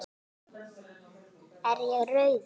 Er ég rauður?